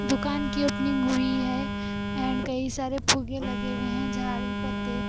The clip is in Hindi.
दुकान की अपनी मूवी है ऐंड कई सारे फूगे लगे हुए है झाड़ी-पत्ते--